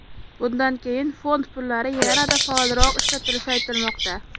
Bundan keyin fond pullari yanada faolroq ishlatilishi aytilmoqda.